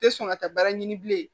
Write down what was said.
Tɛ sɔn ka taa baara ɲini bilen